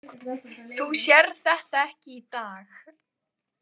Þú sérð þetta ekki í dag